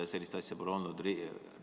Sellist asja pole olnud!